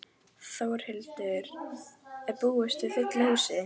Þórhildur, er búist við fullu húsi?